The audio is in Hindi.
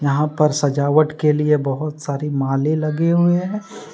यहाँ पर सजावट के लिए बहुत सारी माले लगे हुए हैं।